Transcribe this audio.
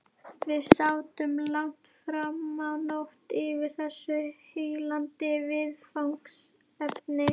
Við sátum langt framá nótt yfir þessu heillandi viðfangsefni.